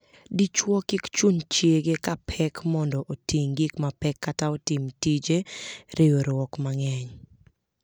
Dichwo kik chun chiege ka pek mondo oting' gik mapek kata otim tije riewruok mang'eny.